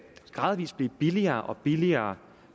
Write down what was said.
blive billigere og billigere